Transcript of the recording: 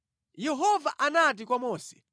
Yehova anati kwa Mose,